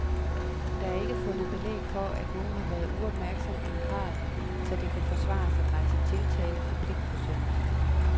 Der er ikke fundet belæg for, at nogen har været uopmærksom i en grad, så det kan forsvares at rejse tiltale for pligtforsømmelser.